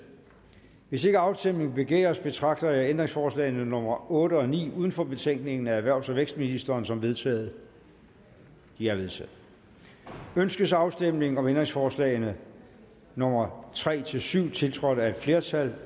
hvis ikke afstemning begæres betragter jeg ændringsforslagene nummer otte og ni uden for betænkningen af erhvervs og vækstministeren som vedtaget de er vedtaget ønskes afstemning om ændringsforslagene nummer tre syv tiltrådt af et flertal